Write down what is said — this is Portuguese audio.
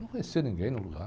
Não conhecia ninguém no lugar.